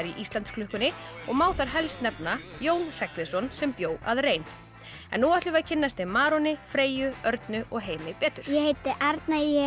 í Íslandsklukkunni og má þar helst nefna Jón Hreggviðsson sem bjó að rein nú ætlum við að kynnast þeim Freyju Örnu og Heimi betur ég heiti Arna ég